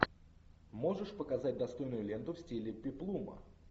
можешь показать достойную ленту в стиле пеплума